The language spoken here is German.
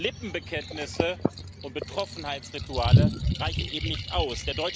Lippenbekenntnisse und Betroffenheitsrituale reichen eben nicht aus.